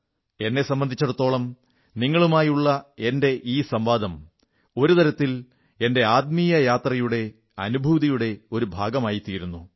എന്നെ സംബന്ധിച്ചിടത്തോളം നിങ്ങളുമായുള്ള എന്റെ ഈ സംവാദം ഒരു തരത്തിൽ എന്റെ ആത്മീയ യാത്രയുടെ അനുഭൂതിയുടെ ഒരു ഭാഗമായിരുന്നു